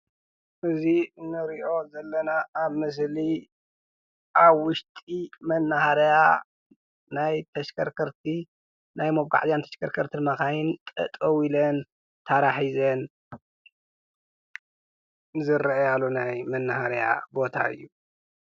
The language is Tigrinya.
እዚ እንሪኦ ዘለና ኣብ ምስሊ ኣብ ውሽጢ መናሃርያ ናይ ተሽከርከርቲ መጓዕዝያን ተሽከርከርቲን መኻይን ጠጠው ኢለን ታራ ሒዘን ዝረኣያሉ ናይ መናሃርያ ቦታ እዩ።